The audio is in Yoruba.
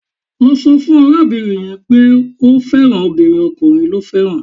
Lọ sọ fún arábìnrin yẹn pé o ò fẹ́ràn obìnrin, ọkùnrin lo fẹ́ràn